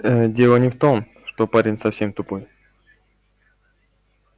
ээ дело не в том что парень совсем тупой